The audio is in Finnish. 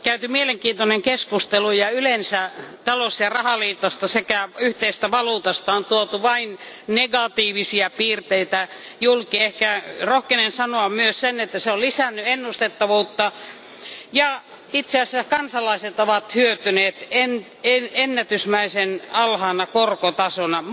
Arvoisa puhemies, täällä on käyty mielenkiintoinen keskustelu ja yleensä talous ja rahaliitosta sekä yhteisestä valuutasta on tuotu vain negatiivisia piirteitä julki. Ehkä rohkenen sanoa myös sen, että se on lisännyt ennustettavuutta, ja itse asiassa kansalaiset ovat hyötyneet ennätysmäisen alhaisesta korkotasosta.